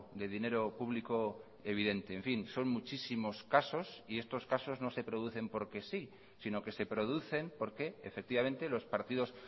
de dinero público evidente en fin son muchísimos casos y estos casos no se producen porque sí sino que se producen porque efectivamente los partidos